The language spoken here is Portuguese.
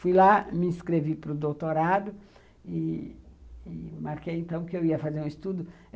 Fui lá, me inscrevi para o doutorado e e marquei, então, que eu ia fazer um estudo.